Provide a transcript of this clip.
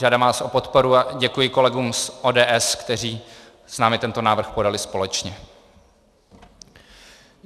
Žádám vás o podporu a děkuji kolegům z ODS, kteří s námi tento návrh podali společně.